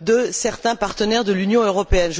de certains partenaires de l'Union européenne.